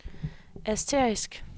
asterisk